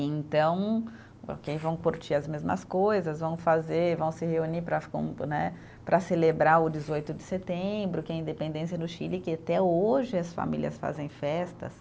Então, vão curtir as mesmas coisas, vão fazer, vão se reunir para com né, para celebrar o dezoito de setembro, que é a independência no Chile, que até hoje as famílias fazem festas.